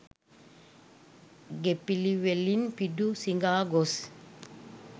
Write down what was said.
ගෙපිළිවෙලින් පිඬු සිඟා ගොස්